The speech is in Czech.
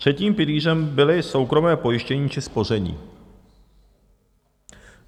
Třetím pilířem byly soukromé pojištění či spoření.